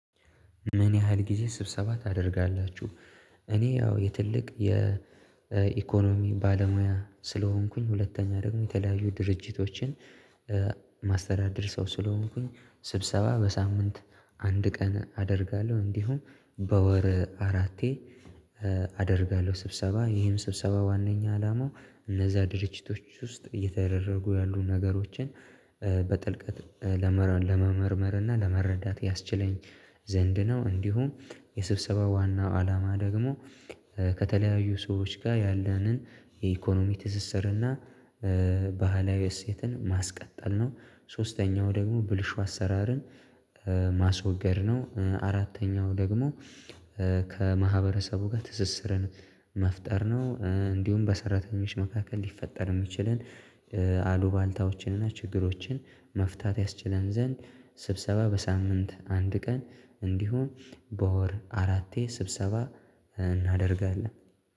ምን ያህል ጊዜ ስብሰባ ታደርጋላችሁ? እኔ ያው የትልቅ የኢኮኖሚ ባለሙያ ስለሆንኩኝ፤ ሁለተኛ ደግሞ የተለያዩ ድርጅቶችን የማስተዳደር ሰው ስለሆንኩኝ በሳምንት አንድ ቀን አደርጋለሁ። እንዲሁም በወር አራቴ አደርጋለሁ ስብሰባ ይሄም ስብሰባ ዋናኛ አላማው፤ እነዛ ድርጅቶች ውስጥ እየተደረጉ ያሉ ነገሮችን፤ በጥልቀት ለመመርመር እና ለመረዳት ያስችለኝ ዘንድ ነው። እንዲሁም የስብሰባው ዋናው አላማ ደግሞ ከተለያዩ ሰዎች ጋር ያለንን የኢኮኖሚ ትዝዝር እና ባህላዊ እሴትን ማስቀጠል ነው። ሶስተኛው ደግሞ ብልሹ አሰራርን፤ ማስወገድ ነው፤ አራተኛው ደግሞ ከማህበረሰቡ ጋር ትስስርን መፍጠር ነው፤ እንዲሁም በሰራተኞች መካከል ሊፈጠር የሚችለን አሉባልታዎችን እና ችግሮችን መፍታት ያስችለን ዘንድ ስብሰባ በሳምንት አንድ ቀን እንዲሁም በወር አራቴ ስብሰባ እናደርጋለን።